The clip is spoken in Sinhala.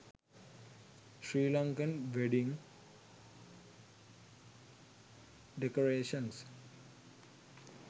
sri lankan wedding decorations